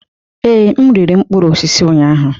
Ee, m riri mkpụrụ osisi ụnyahụ.